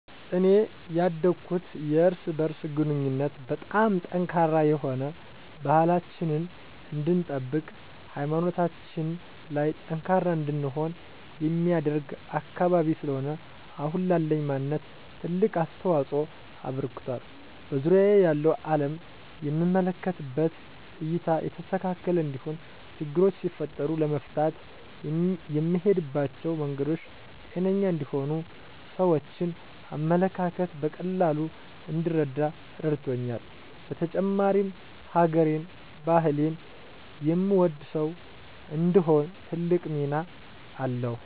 እኔ ያደኩት የእርስ በእርስ ግንኙነቱ በጣም ጠንካራ የሆነ፣ ባህላችንን እንድንጠብቅ ሀይማኖታችን ላይ ጠንካራ እንድንሆን የሚያደርግ አካባቢ ስለሆነ አሁን ላለኝ ማንነት ትልቅ አስተዋፅኦ አበርክቷል። በዙሪያየ ያለውን አለም የምመለከትበት እይታ የተስተካከለ እንዲሆን፣ ችግሮች ሲፈጠሩ ለመፍታት የምሄድባቸው መንገዶች ጤነኛ እንዲሆኑ፣ የሰዎችን አመለካከት በቀላሉ እንድረዳ ረድቶኛል። በተጨማሪም ሀገሬን፣ ባህሌን የምወድ ሰው እንድሆን ትልቅ ሚና አለዉ።